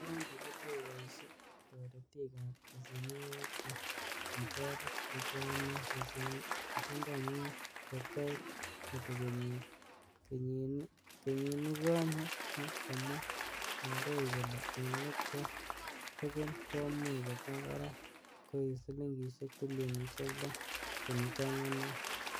Koundi kotokoboishie ak toretik ab besenwogik che kitoret, kochomyo besendonywan kot koit kobek kenyit kenyinikonye, ak komwa kandoik kole en let ko tugul komuch koba barak koi silingisiek trilionisiek loo kenuch angwan oeng.